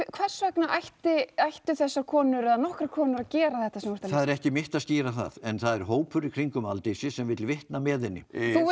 hvers vegna ættu ættu þessar konur eða nokkrar konur að gera þetta sem þú það er ekki mitt að skýra það en það er hópur í kringum Aldísi sem vill vitna með henni þú